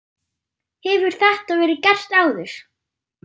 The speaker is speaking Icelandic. Hefur þetta verið gert áður?